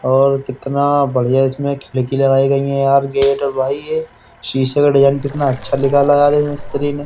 और कितना बढिया इसमें खिड़की लगाई गयीं हैं यार गेट है भाई ये शीशे का डिजाईन कितना अच्छा निकाला है यार इस मिस्त्री ने।